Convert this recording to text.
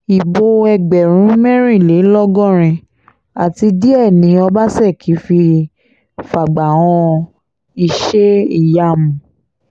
ibo ẹgbẹ̀rún mẹ́rìnlélọ́gọ́rin àti díẹ̀ ni ọbaṣẹ́kí fi fàgbà han iṣẹ́-ìyamù